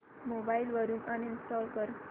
mobile वरून uninstall कर